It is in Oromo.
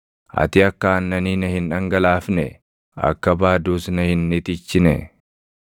Ati akka aannanii na hin dhangalaafnee? Akka baaduus na hin itichinee?